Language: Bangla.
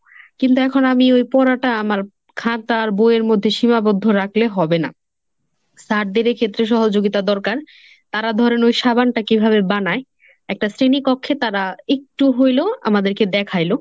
কিন্তু এখন আমি ওই পড়াটা আমার খাতা আর বইয়ের মধ্যে সীমাবদ্ধ রাখলে হবে না। স্যারদের এ ক্ষেত্রে সহযোগিতা দরকার। তারা ধরেন ওই সাবানটা কিভাবে বানায়? একটা শ্রেণীকক্ষে তারা একটু হইলো আমাদেরকে দেখাইলো।